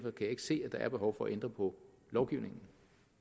jeg ikke se at der er behov for at ændre på lovgivningen